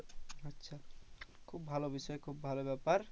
আচ্ছা খুব বিষয় খুব ভালো ব্যাপার।